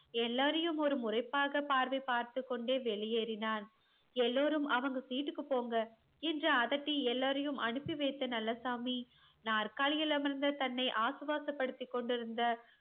எல்லாரையும் ஒரு முறைப்பாக பார்வை பார்த்து கொண்டு வெளியேறினான் எல்லோரும் அவங்க seat க்கு போங்கா என்று அதட்டி எல்லோரியும் அனுப்பி வைத்த நல்லசாமி நாற்காலியில் அமர்ந்து தன்னை ஆஷ்வாஷா படுத்திகொண்டுருந்த